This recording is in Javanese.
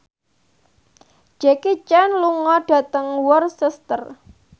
Jackie Chan lunga dhateng Worcester